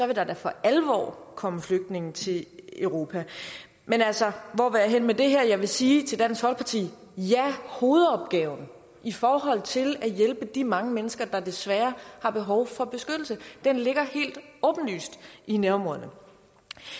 vil der da for alvor komme flygtninge til europa men altså hvor vil jeg hen med det her jeg vil sige til dansk folkeparti ja hovedopgaven i forhold til at hjælpe de mange mennesker der desværre har behov for beskyttelse ligger helt åbenlyst i nærområdet